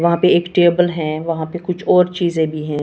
वहां पे एक टेबल है वहां पे कुछ और चीजें भी हैं।